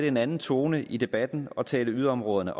en anden tone i debatten og tale yderområderne